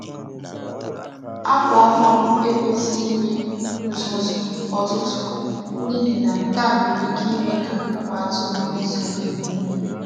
Akwa ọhụrụ ekwesịghị ịnwe uzuzu ọtụtụ, n’ihi na nke a nwere ike ime ka ụmụ atụrụ nwee nsogbu iku ume.